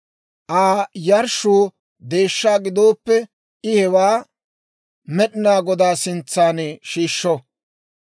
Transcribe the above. « ‹Aa yarshshuu deeshshaa gidooppe, I hewaa Med'inaa Godaa sintsan shiishsho.